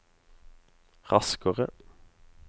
raskere